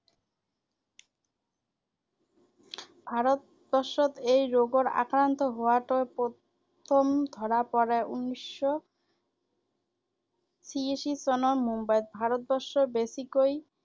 ভাৰত বৰ্ষত এই ৰোগৰ আক্ৰান্ত হোৱাটো প্ৰথম ধৰা পৰে উনেশ শ চিয়াশী চনত মুম্বাইত ৷ ভাৰত বৰ্ষত বেছিকৈ